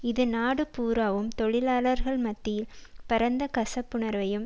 இது நாடு பூராவும் தொழிலாளர்கள் மத்தியில் பரந்த கசப்புனர்வையும்